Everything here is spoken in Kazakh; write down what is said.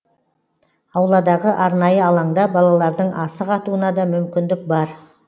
ауладағы арнайы алаңда балалардың асық атуына да мүмкіндік бар